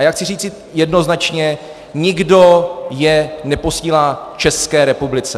A já chci říci jednoznačně, nikdo je neposílá České republice.